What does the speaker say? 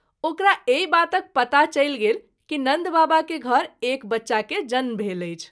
ओकरा एहि बातक पता चलि गेल कि नन्द बाबा के घर एक बच्चा के जन्म भेल अछि।